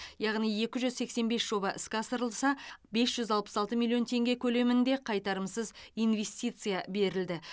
яғни екі жүз сексен бес жоба іске асырылса бес жүз алпыс алты миллион теңге көлемінде қайтарымсыз инвестиция берілді